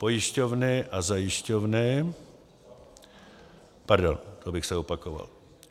Pojišťovny a zajišťovny - pardon, to bych se opakoval.